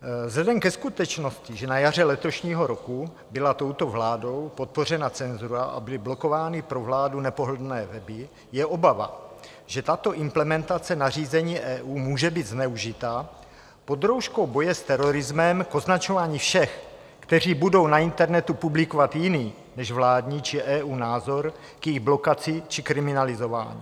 Vzhledem ke skutečnosti, že na jaře letošního roku byla touto vládou podpořena cenzura a byly blokovány pro vládu nepohodlné weby, je obava, že tato implementace nařízení EU může být zneužita pod rouškou boje s terorismem k označování všech, kteří budou na internetu publikovat jiný než vládní či EU názor, k jejich blokaci či kriminalizování.